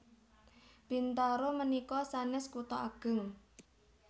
Bintaro menika sanes kuto ageng